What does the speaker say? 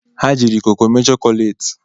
Ha jiri koko mee chọkolati